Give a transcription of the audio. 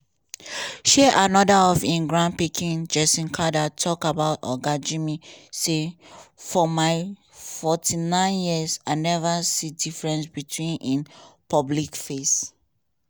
um anoda of im grandpikin jason carter tok about oga jimmy say "for my 49 years i neva see difference between im public face